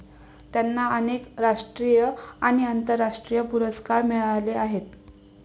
त्यांना अनेक राष्ट्रीय आणि आंतरराष्ट्रीय पुरस्कार मिळाले आहेत